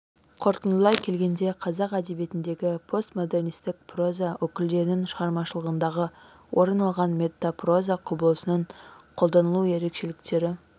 қорытындылай келгенде қазақ әдебиетіндегі постмодернистік проза өкілдерінің шығармашылығында орын алған метапроза құбылысының қолданылу ерекшеліктері